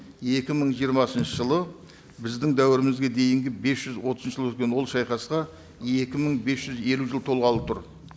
екі мың жиырмасыншы жылы біздің дәуірімізге дейінгі бес жүз отыз жыл өткен ол шайқасқа екі мың бес жүз елу жыл толғалы тұр